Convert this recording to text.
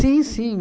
sim.